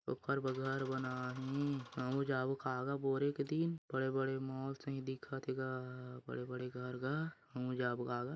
ओक्खर ब घर बनाये हिं हमू जाबो खा गा बोरे के दिन बड़े बड़े मॉल सही दिखत है गा बड़े बड़े घर गा हमू जाबो का गा।